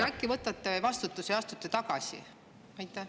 Äkki võtate vastutuse ja astute tagasi?